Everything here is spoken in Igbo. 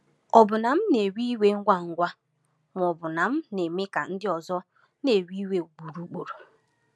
Ọ̀ bụ na m na-ewe iwe ngwa ngwa, ma ọ bụ na m na-eme ka ndị ọzọ na-ewe iwe ugboro ugboro?